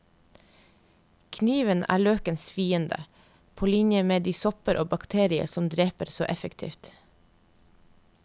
Kniven er løkens fiende, på linje med de sopper og bakterier den dreper så effektivt.